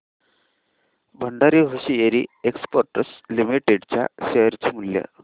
Bhandari hosiery exports limited च्या share चे मूल्य